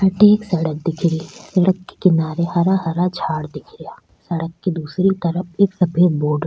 अठे एक सड़क दिख री सड़क के किनारे हरा हरा झाड़ दिख रा सड़क के दूसरी तरफ एक सफ़ेद बोर्ड --